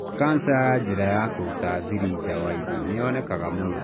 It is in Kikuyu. Cancer ya njira ya kũruta thiri nja wa ini nĩ yonekaga mũno.